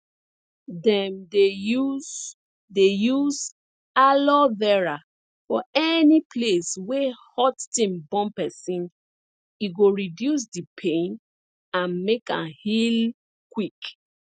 dem dey use dey use aloe vera for any place wey hot thing burn pesin e go reduce di pain and make am heal quick